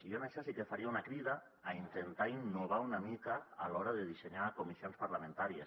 i jo en això sí que faria una crida a intentar innovar una mica a l’hora de dissenyar comissions parlamentàries